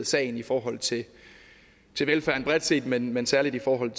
sagen i forhold til velfærden bredt set men men særlig i forhold